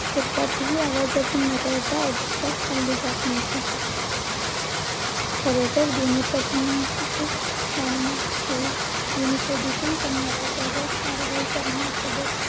क्षेत्रात हि आवाजाची मर्यादा अजिबात पाळली जात नव्हती. खरतर ध्वनी प्रदूषण शाळेमध्ये ध्वनी प्रदूषण करणाऱ्या कडक कारवाई करण्यासोबत